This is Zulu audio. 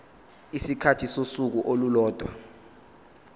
isikhathi sosuku olulodwa